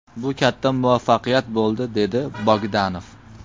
Bu katta muvaffaqiyat bo‘ldi”, dedi Bogdanov.